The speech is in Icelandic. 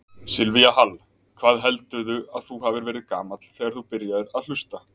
Silvía Hall: Hvað heldurðu að þú hafi verið gamall þegar þú byrjaðir að hlusta?